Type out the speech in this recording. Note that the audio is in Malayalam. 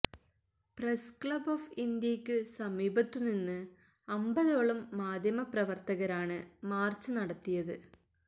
പ്രസ് ക്ലബ്ബ് ഓഫ് ഇന്ത്യയ്ക്ക് സമീപത്തുനിന്ന് അമ്പതോളം മാധ്യമപ്രവർത്തകരാണ് മാർച്ച് നടത്തിയത്